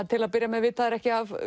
til að byrja með vita þær ekki af